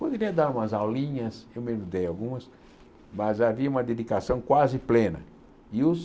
Poderia dar umas aulinhas, eu mesmo dei algumas, mas havia uma dedicação quase plena, e os